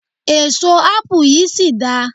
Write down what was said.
èso apu yìí sì da